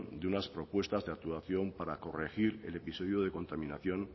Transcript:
de unas propuestas de relación para corregir el episodio de contaminación